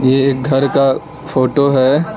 ये एक घर का फोटो है।